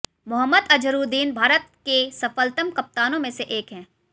मोहम्मद अजहरुद्दीन भारत के सफलतम कप्तानों में से एक हैं